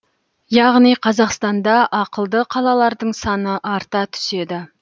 яғни қазақстанда ақылды қалалардың саны арта түседі